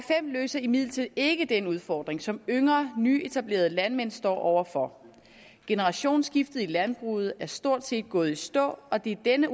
løser imidlertid ikke den udfordring som yngre nyetablerede landmænd står over for generationsskiftet i landbruget er stort set gået i stå og det er denne